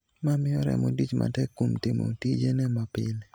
Ma miyo remo tich matek kuom timo tijene mapile.